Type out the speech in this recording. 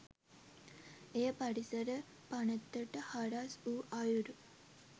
එය පරිසර පනතට හරස් වූ අයුරු